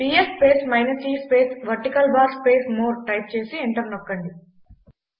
PS space minus e space vertical bar space more type చేసి enter నొక్కండి